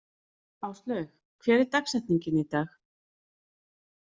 Áslaug, hver er dagsetningin í dag?